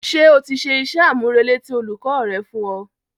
Ṣé o ti ṣe iṣẹ́ àmúrelé tí olùkọ́ rẹ fún ẹ.